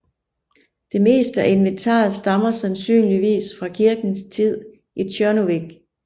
Det meste af inventaret stammer sandsynligvis fra kirkens tid i Tjørnuvik